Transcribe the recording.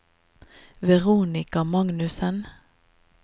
Veronica Magnussen